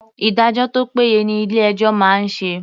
Ìdájọ́ tó péye ni ilé ẹjọ́ máa ń ṣe.